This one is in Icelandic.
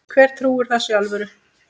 Hver trúir þessu í alvöru?